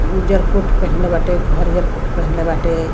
उज्जर कोट पहिनले बाटे हरियर कोट पहिनले बाटे।